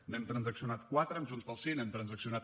n’hem transaccionat quatre amb junts pel sí n’hem transaccionat